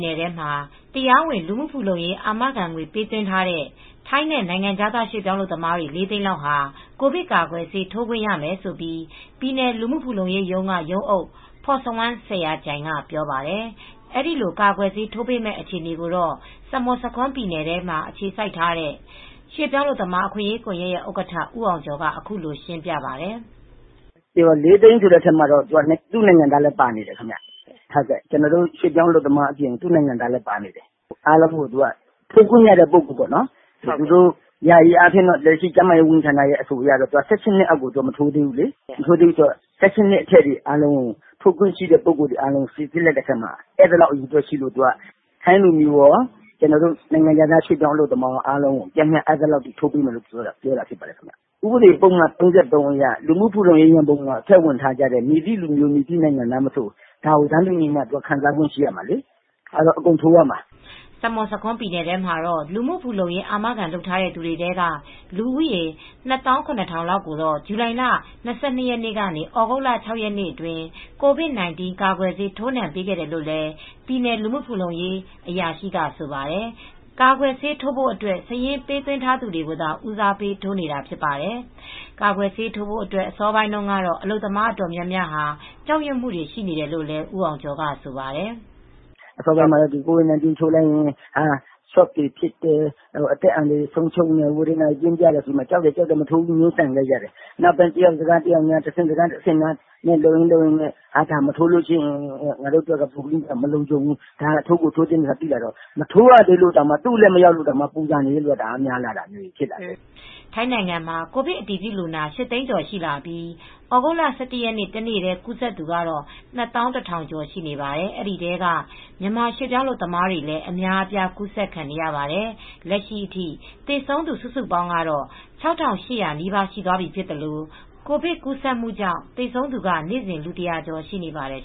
နယ်ထဲမှာ တရားဝင် လူမှုဖူလုံရေးအာမခံငွေ ပေးသွင်းထားတဲ့ ထိုင်းနဲ့ နိုင်ငံခြားသားရွေပြောင်းအလုပ်သမား တွေ ၄သိန်းလောက်ဟာ ကိုဗစ်ကာကွယ်ဆေး ထိုးခွင့်ရမယ်လို့ ပြည်နယ် လူမူ့ဖူလုံရေးရုံးက ရုံးအုပ် ဖောစဝမ်း စဲယာကျိုင်က ပြောပါတယ်။ အဲဒီလို ကာကွယ်ဆေး ထိုးပေးမယ့် အခြေအနေကိုတော့ ဆာမွတ်ဆာခွန်းပြည်နယ်ထဲမှ ာအခြေစိုက်ထားတဲ့ ရွေပြောင်းအလုပ်သမားအခွင့်ရေး ကွန်ယက်ဥက္ကဌ ဦးအောင်ကျော်က အခုလိုရှင်းပြပါတယ်။ "၄သိန်းဆိုတဲ့အထဲမှာ တော့ သူ့နိုင်ငံသားလည်းပါနေတယ်။ ကျနော်တို့ ရွှေ့ပြောင်းအလုပ်သမားတွေအပြင် သူ့နိုင်ငံသားတွေလည်းပါနေတယ်။ ထိုးခွင့်ရတဲ့ ပုဂ္ဂိုလ်တွေပေါ့နော်။ သူတို့ယာယီအားဖြင့် ကျန်းမာရေးဝန်ကြီးဌာနရဲ့ အဆိုအရတော့ ၁၈နှစ်အောက်ကိုတော့မထိုးသေးဘူးလေ။ ၁၈ နှစ် အထက် ထိုးခွင့်ရှိသူတွေကို စီစစ်လိုက်တဲ့အခါမှာ အဲဒီလောက်အရေအတွက်ရှိလို့ ထိုင်းလူမျိုးကော၊ နိုင်ငံခြားသားအလုပ်သမားကော ပျမ်းမျှ အဲဒီလောက်ထိုးရမယ်လို့ပြောတာပါ။ ဥပဒေပုဒ်မ ၃၃ အရ လူမူ့ဖူလုံရေးရံပုံငွေ ထည့်ဝင်ထားသူ မည်သည့်လူမျိုး၊ မည်သည့်နိုင်ငံသားမဆို တန်းတူအခွင့်အရေး ခံစားရမှာဖြစ်လို့ အကုန်ထိုးရမှာပါ။" ဆာမွတ်ဆာခွန်းပြည်နယ်ထဲမှာတော့ လူမူဖူလုံရေးအာမခံလုပ်ထားတဲ့ သူတွေထဲက လူဦးရေ ၂၇,၀၀၀ေ လာက်ကိုတော့ ဇူလိုင်လ ၂၂ ရက်နေ့ကနေ သြဂုတ်လ ၆ရက်နေ့အတွင်း ကိုဗစ်-၁၉ ကာကွယ်ဆေး ထိုးနှံပေးခဲ့တယ်လို့လည်း ပြည်နယ်လူမူ့ဖူလုံရေး အရာရှိကဆိုပါတယ်။ ကာကွယ်ဆေးထိုးဖို့အတွက် စာရင်းပေးသွင်းထားသူတွေကိုသာ ဦးစားပေးထိုးပေးနေတာဖြစ်ပါတယ်။ ကာကွယ်ဆေးထိုးဖို့အတွက် အစောပိုင်းတုန်းကတော့ အလုပ်သမားအတော်များများ ကြောက်ရွံမူတွေရှိနေတယ်လို့လည်း ဦးအောင်ကျော်က ဆိုပါတယ်။ "အစပိုင်းမှာတော့ ကိုဗစ်-၁၉ ကာကွယ်ဆေးထိုးရင် ရှော့တွေဖစ်တယ်၊ အသက်အန္တရာယ်အရ သေဆုံးတာတွေရှိတယ်ဆိုပြီး မထိုးဘူးဆိုပြီး လုပ်နေကြတယ်။ နောက်ပိုင်းမှာတော့ မထိုးရင် ငါတို့အတွက် မလုံခြုံဘူး ထိုးမှဖြစ်မယ်ဆိုတာ သိလာတော့ သူအလှည့်မရောက်သေးလို့တောင်မှ ပူဆာတဲ့သူတွေများလာကြတယ်။" ထိုင်းနိုင်ငံမှာ ကိုဗစ်အတည်ပြုလူနာ ၈သိန်းကျော်ထိရှိလာပြီး သြဂုတ်လ ၁၁ ရက်နေ့ တနေ့တည်း ကူးစက်သူက ၂၁,၀၀၀ ကျော်ရှိနေပါတယ်။ ဒီထဲမှာ မြန်မာရွှေပြောင်းအလုပ်သမားတွေလည်း အများအပြား ကူးစက်ခံနေရပါတယ်။ လက်ရှိအထိ သေဆုံးသူ စုစုပေါင်းကတော့ ၆,၈၀၀ နီးပါးရှိသွာပြီဖြစ်သလို ကိုဗစ်ကူးစက်မူ့ကြောင့် သေဆုံးသူက နေ့စဉ် လူ ၁၀၀ ကျော်ရှိနေပါတယ်